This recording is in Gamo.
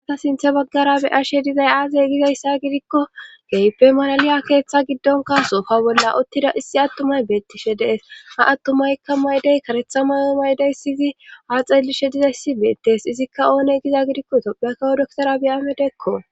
Ha sinthe baggara be ashe dizay aazey gigayssa gidikko geype malaliya keeththa giddonka soofa bolla uttida issi attumay beettishe dees ha attumaykka maydey karetha mayo maydey siyizi ha xeelishe dizay ssi beettes izikka oone giza gidikko topyakawo doktora be amedekko